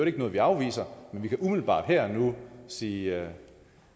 ikke noget vi afviser men vi kan umiddelbart her og nu sige